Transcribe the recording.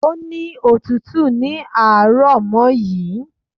Ó ní otútù ní àárọmọ̀ yìí